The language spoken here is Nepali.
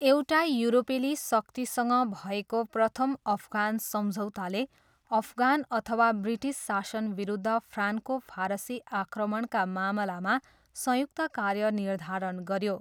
एउटा युरोपेली शक्तिसँग भएको प्रथम अफगान सम्झौताले अफगान अथवा ब्रिटिस शासनविरुद्ध फ्रान्को फारसी आक्रमणका मामलामा संयुक्त कार्य निर्धारण गऱ्यो।